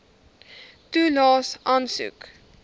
toelaes aansoek